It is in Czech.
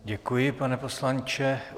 Děkuji, pane poslanče.